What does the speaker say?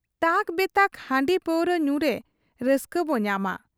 ᱛᱟᱠ ᱵᱮᱛᱟᱠ ᱦᱟᱺᱰᱤ ᱯᱟᱹᱨᱩᱣᱟᱹ ᱧᱩᱨᱮ ᱨᱟᱹᱥᱠᱟᱹᱵᱚ ᱧᱟᱢᱟ ᱾